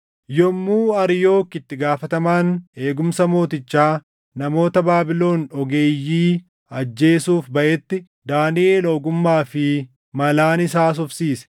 Yommuu Ariyook itti gaafatamaan eegumsa mootichaa namoota Baabilon ogeeyyii ajjeesuuf baʼetti, Daaniʼel ogummaa fi malaan isa haasofsiise.